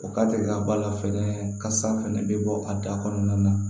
O ka deli ka bɔ a la fɛnɛ kasa fɛnɛ bɛ bɔ a da kɔnɔna na